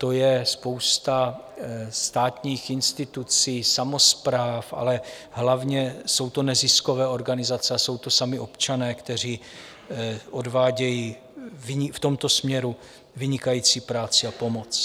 To je spousta státních institucí, samospráv, ale hlavně jsou to neziskové organizace a jsou to sami občané, kteří odvádějí v tomto směru vynikající práci a pomoc.